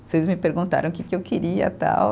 Vocês me perguntaram o que que eu queria tal.